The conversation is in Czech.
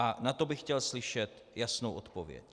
A na to bych chtěl slyšet jasnou odpověď.